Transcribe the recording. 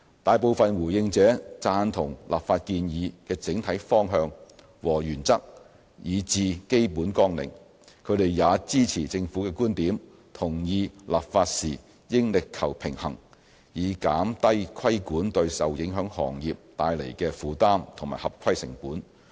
大部分回應者贊同立法建議的整體方向和原則以至基本綱領，也支持政府的觀點，同意立法時應力求平衡，以減低規管對受影響行業帶來的負擔和合規成本。